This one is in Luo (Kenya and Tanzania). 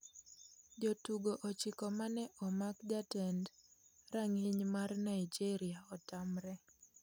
Jotugo ochiko mane omak jatend rang'iny mar Naijeria otamre